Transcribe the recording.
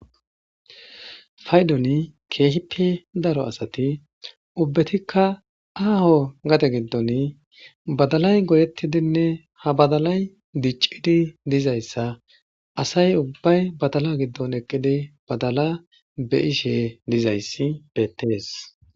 Payddoni kehippe daro asati uubatikka aho gade gidon badalay goyetidinne ha badalay dic'idi dizaysa asay uubay badala gidon eqidi badala be'ishe dizaysi beetes.